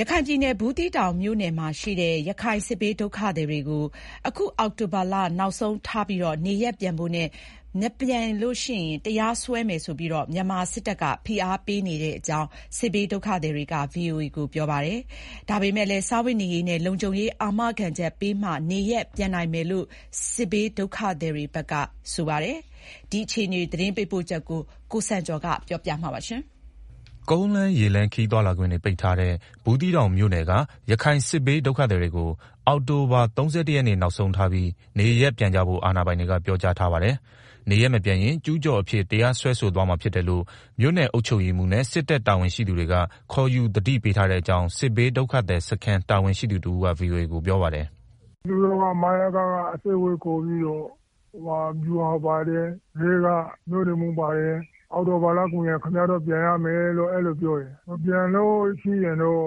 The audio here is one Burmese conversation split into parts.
ရခိုင်ပြည်နယ် ဘူးသီးတောင်မြို့နယ်မှာရှိတဲ့ ရခိုင်စစ်ဘေးဒုက္ခသည်တွေကို အခု အောက်တိုဘာလ နောက်ဆုံးထားပြီးနေရပ်ပြန်ဖို့နဲ့ မပြန်ရင်တရားစွဲမယ်ဆိုပြီး မြန်မာစစ်တပ်ဘက်က ဖိအားပေးနေကြောင်း စစ်ဘေးဒုက္ခသည်တွေက ပြောကြပါတယ်။ ဒါပေမယ့်လည်း စားဝတ်နေရေးနဲ့ လုံခြုံရေးအာမခံချက်ပေးမှ နေရပ်ပြန်နိုင်မယ်လို့ စစ်ဘေးဒုက္ခသည်တွေဘက်က ပြောကြပါတယ်။ ဘူးသီးတောင်မြို့နယ်အတွင်းက ဒုက္ခသည်အခြေအနေ သတင်းပေးပို့ချက်ကို ကိုစံကျော်က တင်ပြပေးထားပါတယ်။ ကုန်းလမ်းရေလမ်းခရီးသွားလာခွင့်ပိတ်ထားတဲ့ ဘူးသီးတောင်မြို့နယ်က ရခိုင်စစ်ဘေး ဒုက္ခသည်တွေကို အောက်တိုဘာ ၃၁ နေ့နောက်ဆုံးထားပြီး နေရပ်ပြန်ကြဖို့ အာဏာပိုင်တွေက ပြောထားပါတယ်။ နေရပ်မပြန်ရင် ကျူးကျော်အဖြစ် တရားစွဲဆိုသွားမှာဖြစ်တယ်လို့ မြို့နယ်အုပ်ချုပ်ရေးမှူးနဲ့ စစ်တပ်တာဝန်ရှိသူတွေက ခေါ်ယူ သတိပေးထားတဲ့အကြောင်း စစ်ဘေးဒုက္ခသည်စခန်းတာဝန်ရှိသူတဦးက VOA ကို ပြောပါတယ်။ “ သူတို့က မယက က အစည်းအဝေးခေါ်ပြီးတော့ ဗျူဟာမှူးပါတယ်။ ရဲက မြို့နယ်မှူးပါတယ်။ အောက်တိုဘာလကုန်ရင် ခင်ဗျား ပြန်ရမယ်တဲ့။ အဲလိုပြောတယ်။ မပြန်လို့ရှိရင်တော့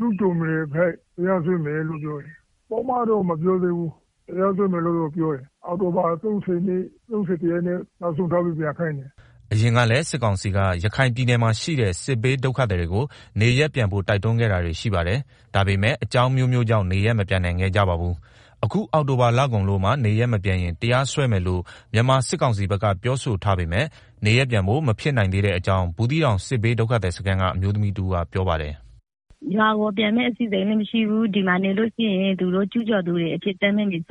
ကျူးကျော်မြေအဖြစ် တရားစွဲမယ်လို့ပြောတယ်။ ပုဒ်မတော့မပြောဘူး။ တရားစွဲမယ်လို့သာ ပြောတာ။ အောက်တိုဘာ ၃၁ ရက်နေ့ နောက်ဆုံးထားပြီးပြန်ခိုင်းတယ်။” အရင်ကလည်း စစ်ကောင်စီက ရခိုင်ပြည်နယ်မှာရှိတဲ့ စစ်ဘေးဒုက္ခသည်တွေကို နေရပ်ပြန်ဖို့ တိုက်တွန်းခဲ့တာတွေရှိပါတယ်။ ဒါပေမယ့် အကြောင်းအမျိုးမျိုး ကြောင့် နေရပ်မပြန်နိုင်ခဲ့ကြပါဘူး။ အခု အောက်တိုဘာလကုန်လို့မှ နေရပ်မပြန်ရင် တရားစွဲမယ်လို့ မြန်မာစစ်ကောင်စီဘက်က ပြောထားပေမယ့် နေရပ်ပြန်ဖို့ မဖြစ်နိုင်သေးတဲ့အကြောင်း ဘူးသီးတောင်စစ်ဘေးဒုက္ခသည်စခန်းက အမျိုးသမီးတဦး ကပြောပါတယ်။ “ ရွာကိုပြန်မယ့် အစီအစဉ်လည်းမရှိသေးဘူး။ ဒီမှာနေလို့ရှိရင်လည်း သူတို့က ကျူးကျော်သူတွေဆိုပြီး တရားစွဲရင်လည်း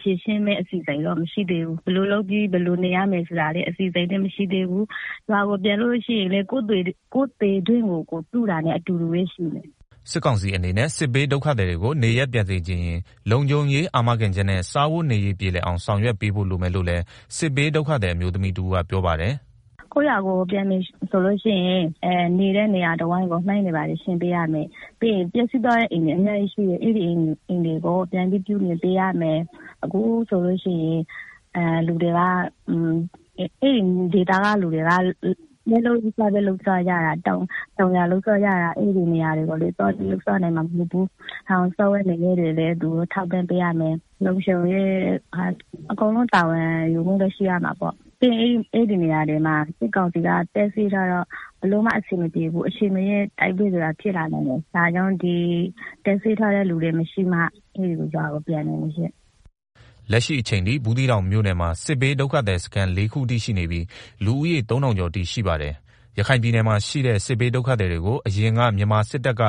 ဖြေရှင်းမယ့်အစီအစဉ်လည်း မရှိသေးဘူး၊ ဘယ်လိုလုပ်ရမလဲ၊ ဘယ်လိုနေရမလဲဆိုတာလည်း မရှိသေးဘူး။ ရွာကိုပြန်လို့ရှိရင်လည်း ကိုယ့်သေတွင်းကို ကိုယ်တူးတာနဲ့ အတူတူပဲရှိတယ်။” စစ်ကောင်စီအနေနဲ့ စစ်ဘေးဒုက္ခသည်တွေကို နေရပ်ပြန်စေချင်ရင် လုံခြုံရေးအာမခံချက်နဲ့ စားဝတ်နေရေးပြေလည်အောင် ဆောင်ရွက်ပေးဖို့ လိုမယ်လို့လည်း စစ်ဘေးဒုက္ခသည် အမျိုးသမီး တဦးကပြောပါတယ်။ “ ရွာကိုပြန်မယ်ဆိုရင် နေတဲ့နေရာတဝိုက်ကို မိုင်းရှင်းပေးရမယ်။ ပြီးတော့ ပျက်စီးသွားတဲ့အိမ်တွေကို ပြန်ဆောက်ပေးရမယ်၊ ပြီးတော့ အဲဒီဒေသက လူတွေက တောင်ယာ လုပ်စားကြတာ။ အဲဒီနေရာကိုလည်း သွားနိုင်မှာမဟုတ်ဘူးဆိုတော့ စားဝတ်နေရေး ထောက်ပံ့ပေးရမယ်။ လုံခြုံရေးအကုန်လုံး တာဝန်ယူပေးရမယ်။ အဲဒီနေရာတွေမှာ စစ်ကောင်စီက တပ်စွဲထားတော့ ဘယ်လိုမှအဆင်မပြေဘူး။ အချန်မရွေး တိုက်ပွဲဖြစ်လာနိုင်တယ်။ တပ်စွဲထားတဲ့လူတွေမရှိမှ ရွာကိုပြန်နိုင်မယ်ရှင့်။” လက်ရှိအချိန်ထိ ဘူးသီးတောင်မြို့နယ်မှာ စစ်ဘေးဒုက္ခသည်စခန်း လေးခုအထိရှိနေပြီး လူဦးရေ ၃,၀၀၀ ကျော်အထိရှိပါတယ်၊ ရခိုင်ပြည်နယ်မှာ ရှိတဲ့ စစ်ဘေးဒုက္ခသည်တွေကိုအရင်က မြန်မာစစ်တပ်က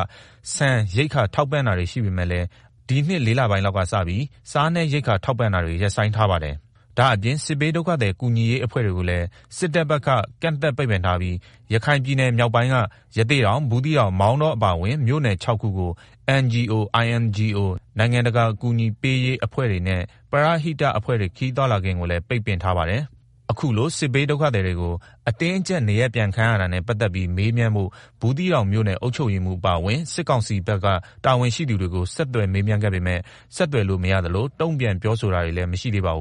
ဆန်ရိက္ခာ ထောက်ပံ့တာတွေရှိပေမယ့်လည်း ဒီနှစ် ၄ လပိုင်းလောက်ကစပြီး စားနပ်ရိက္ခာထောက်ပံ့တာတွေ ရပ်ဆိုင်းထားပါတယ်။ ဒါ့အပြင် စစ်ဘေးဒုက္ခသည်ကူညီရေးအဖွဲ့တွေကိုလည်း စစ်တပ်ဘက်က ကန့်သတ် ပိတ်ပင်ထားပြီး ရခိုင်ပြည်နယ်မြောက်ပိုင်းက ရသေ့တောင်၊ ဘူးသီးတောင်၊ မောင်တောအပါအဝင် မြို့နယ် ၆ ခုကို NGO၊ INGO နိုင်ငံတကာ အကူအညီပေးရေး အဖွဲ့တွေနဲ့ ပရဟိတတအဖွဲ့တွေ ခရီးသွားလာခွင့်ကိုလည်း ပိတ်ပင်ထားပါတယ်။ အခုလို စစ်ဘေးဒုက္ခသည်တွေကို အတင်းအကြပ်နေရပြန်ခိုင်းရတာနဲ့ ပတ်သက်ပြီးမေးမြန်းဖို့ ဘူးသီးတောင်မြို့နယ်အုပ်ချုပ်ရေးမှူးအပါအဝင် စစ်ကောင်စီဘက်က တာဝန်ရှိသူတွေကို ဆက်သွယ်မေးမြန်းခဲ့ပေမယ့် ဆက်သွယ်လို့မရသလို တုံ့ပြန်ပြောဆိုတာ မရှိသေးပါဘူး